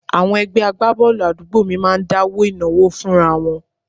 Àwọn ẹgbẹ́ agbábọ́ọ̀lù àdúgbò mi máa ń dáwó ìnáwó fúnra wọn